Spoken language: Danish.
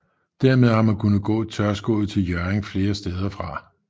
Dermed har man kunne gå tørskoet til Hjørring flere steder fra